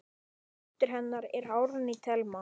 Dóttir hennar er Árný Thelma.